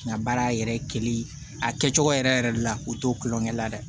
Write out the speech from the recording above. N ka baara yɛrɛ ye kelen ye a kɛcogo yɛrɛ yɛrɛ de la u t'o tulonkɛ la dɛ